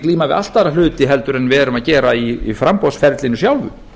glíma við allt aðra hluti en við erum að gera í framboðsferlinu sjálfu